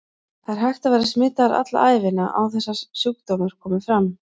Það er hægt að vera smitaður alla ævina án þess að sjúkdómur komi fram.